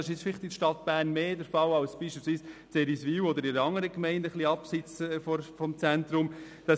Das ist in der Stadt Bern vielleicht mehr der Fall als zum Beispiel in Eriswil oder einer anderen Gemeinde, die etwas abseits des Zentrums liegt.